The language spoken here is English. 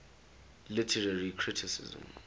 literary criticism